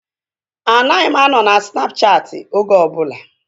Anaghị m anọ na Snapchaati oge ọbụla